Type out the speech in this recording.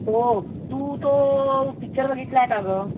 तू तो पिक्चर बघितलायस का ग